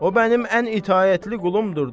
O mənim ən itaətli qulumdur.